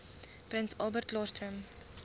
prins albertklaarstroom